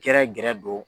Gɛrɛ gɛrɛ don